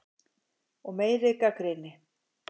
Og meiri gagnrýni.